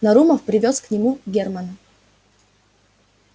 нарумов привёз к нему германа